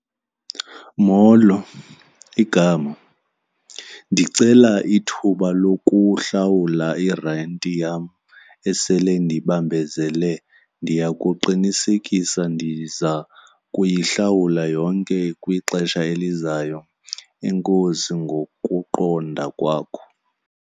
Molo, igama. Ndicela ithuba lokuhlawula irenti yam esele indibambezele. Ndiya kuqinisekisa ndiza kuyihlawula yonke kwixesha elizayo enkosi ngokuqonda kwakho.